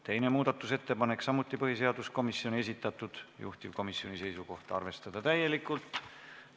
Teine muudatusettepanek, samuti põhiseaduskomisjoni esitatud, juhtivkomisjoni seisukoht: arvestada täielikult.